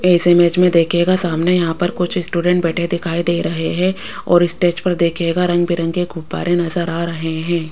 इस इमेज़ में देखिएगा सामने यहां पर कुछ स्टूडेंट बैठे दिखाई दे रहे है और स्टेज पर देखिएगा रंग बिरंगे गुब्बारे नज़र आ रहे हैं।